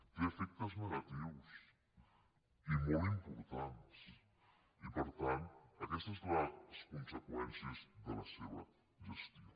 té efectes negatius i molt importants i per tant aquesta és la conseqüència de la seva gestió